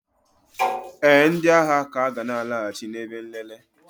ee, ndị agha ka ga na-alaghachi na ebe nlele